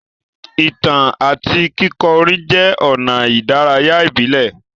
Ìtàn àti kíkọ orin jẹ́ ọ̀nà ìdárayá ìbílẹ̀.